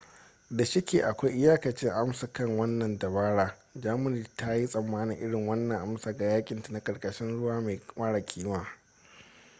da shike akwai iyakacin amsa kan wannan dabara germany ta yi tsamanin irin wannan amsa ga yakinta na karkashin ruwa mara kima